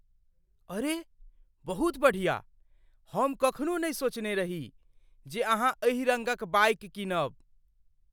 अरे, बहुत बढ़िया! हम कखनो नहि सोचने रही जे अहाँ एहि रङ्गक बाइक कीनब।